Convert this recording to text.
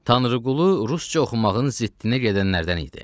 Tanrıqulu rusca oxumağın ziddinə gedənlərdən idi.